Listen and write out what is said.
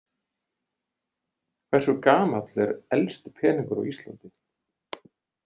Hversu gamall er elsti peningur á Íslandi?